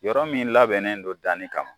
Yɔrɔ min labɛnnen don danni kama